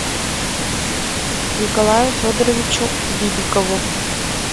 николаю федоровичу бибикову